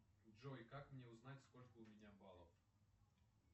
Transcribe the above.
джой как мне узнать сколько у меня баллов